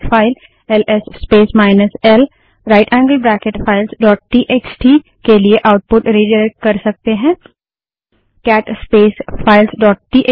हम एक file L S space minus L right angled bracket files dot TXT LS space minus L right angled bracket filesटीएक्सटी के लिए output redirect कर सकते हैं